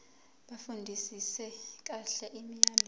bafundisise kahle imiyalelo